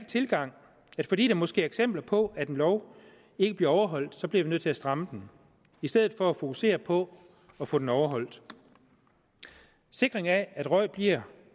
tilgang at fordi der måske er eksempler på at den lov ikke bliver overholdt så bliver man nødt til at stramme den i stedet for at fokusere på at få den overholdt sikring af at røgen bliver